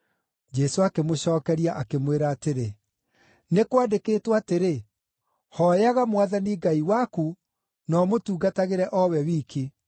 Jesũ akĩmũcookeria, akĩmwĩra atĩrĩ, “Nĩ kwandĩkĩtwo atĩrĩ: ‘Hooyaga Mwathani Ngai waku na ũmũtungatagĩre o we wiki.’ ”